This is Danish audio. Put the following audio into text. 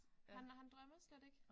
Han han drømmer slet ikke